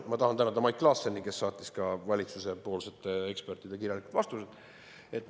Ma tahan tänada Mait Klaassenit, kes saatis valitsuspoolsete ekspertide kirjalikud vastused.